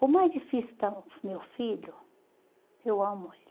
Por mais difícil que está o meu filho, eu amo ele.